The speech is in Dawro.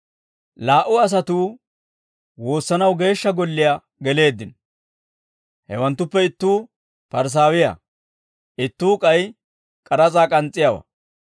«Laa"u asatuu woossanaw geeshsha golliyaa geleeddino. Hewanttuppe ittuu Parisaawiyaa; ittuu k'ay k'aras'aa k'ans's'iyaawaa.